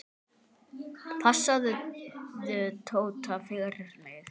Passaðu Tóta fyrir mig.